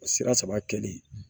Sira saba kɛli